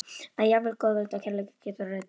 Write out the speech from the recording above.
Að jafnvel góðvild og kærleikur geta orðið grimm.